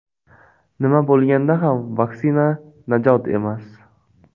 Nima bo‘lganda ham vaksina najot emas.